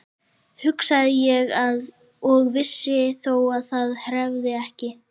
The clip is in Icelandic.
hugsaði ég og vissi þó að það hreyfðist ekki.